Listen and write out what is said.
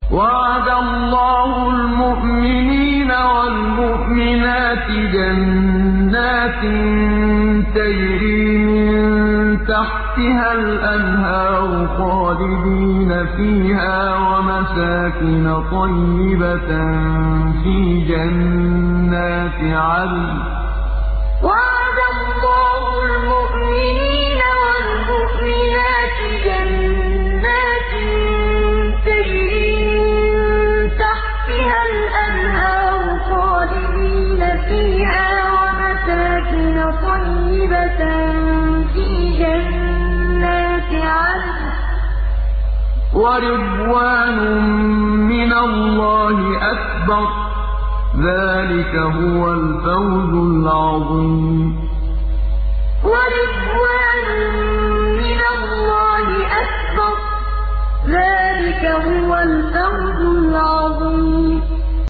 وَعَدَ اللَّهُ الْمُؤْمِنِينَ وَالْمُؤْمِنَاتِ جَنَّاتٍ تَجْرِي مِن تَحْتِهَا الْأَنْهَارُ خَالِدِينَ فِيهَا وَمَسَاكِنَ طَيِّبَةً فِي جَنَّاتِ عَدْنٍ ۚ وَرِضْوَانٌ مِّنَ اللَّهِ أَكْبَرُ ۚ ذَٰلِكَ هُوَ الْفَوْزُ الْعَظِيمُ وَعَدَ اللَّهُ الْمُؤْمِنِينَ وَالْمُؤْمِنَاتِ جَنَّاتٍ تَجْرِي مِن تَحْتِهَا الْأَنْهَارُ خَالِدِينَ فِيهَا وَمَسَاكِنَ طَيِّبَةً فِي جَنَّاتِ عَدْنٍ ۚ وَرِضْوَانٌ مِّنَ اللَّهِ أَكْبَرُ ۚ ذَٰلِكَ هُوَ الْفَوْزُ الْعَظِيمُ